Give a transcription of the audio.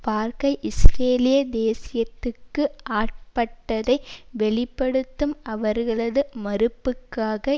பார்க்க இஸ்ரேலிய தேசியத்துக்கு ஆட்பட்டதை வெளி படுத்தும் அவர்களது மறுப்புக்காக